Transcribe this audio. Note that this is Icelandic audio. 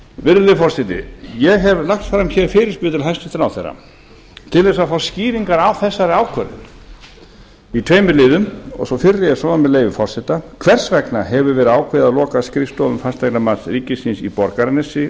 virðulegi forseti ég hef lagt fram hér fyrirspurn til hæstvirts ráðherra til þess að fá skýringar á þessari ákvörðun í tveimur liðum sá fyrri er svona með leyfi forseta fyrsta hvers vegna hefur verið ákveðið að loka skrifstofum fasteignamats ríkisins í borgarnesi